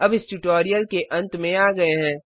अब इस ट्यूटोरियल के अंत में आ गये हैं